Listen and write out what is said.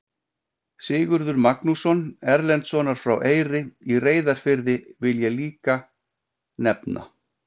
Sigurð Magnússon Erlendssonar frá Eyri í Reyðarfirði vil ég líka nefna.